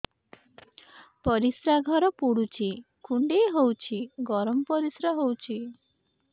ପରିସ୍ରା ଘର ପୁଡୁଚି କୁଣ୍ଡେଇ ହଉଚି ଗରମ ପରିସ୍ରା ହଉଚି